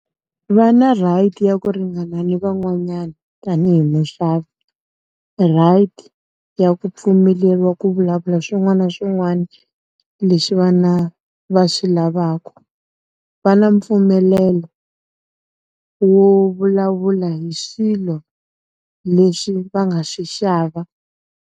Va nna right ya ku ringana ni van'wanyana, tanihi muxavi. Right, ya ku pfumeleriwa ku vulavula swin'wana na swin'wana leswi vana va swi lavaka. Va na mpfumelelo, wo vulavula hi swilo leswi va nga swi xava.